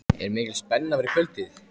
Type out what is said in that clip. Er ekki mikil spenna fyrir kvöldið?